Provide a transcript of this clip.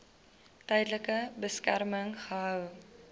tydelike beskerming gehou